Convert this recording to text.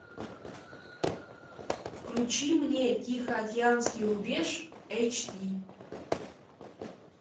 включи мне тихоокеанский рубеж эйч ди